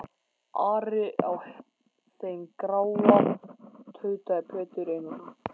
Ari á þeim gráa, tautaði Pétur Einarsson.